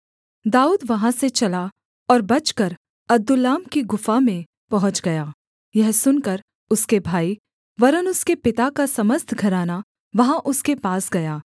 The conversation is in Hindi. दाऊद वहाँ से चला और बचकर अदुल्लाम की गुफा में पहुँच गया यह सुनकर उसके भाई वरन् उसके पिता का समस्त घराना वहाँ उसके पास गया